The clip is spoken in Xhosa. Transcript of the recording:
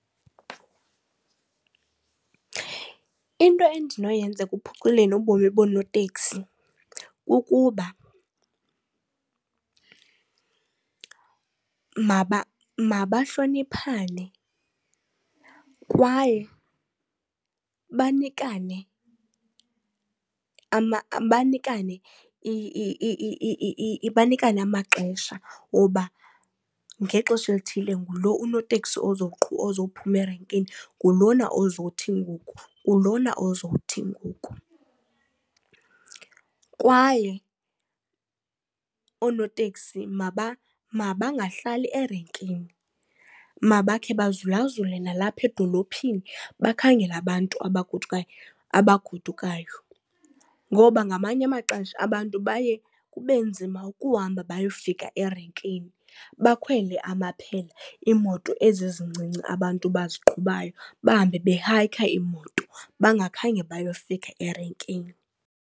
Into endinoyenza ekuphuculeni ubomi bonooteksi kukuba mabahloniphane kwaye banikane amaxesha woba ngexesha elithile ngulo unoteksi ozowuphuma erenkini, ngulona ozothi ngoku, ngulona ozothi ngoku. Kwaye oonoteksi mabangahlali erenkini mabakhe bazula-zule nalapha edolophini bakhangele abantu abagodukayo ngoba ngamanye amaxesha abantu baye kube nzima ukuhamba bayofika erenkini bakhwele amaphela iimoto ezi ezincinci abantu baziqhubayo bahambe behayikha iimoto bangakhange bayofika erenkini.